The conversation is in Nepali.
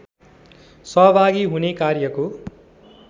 सहभागी हुने कार्यको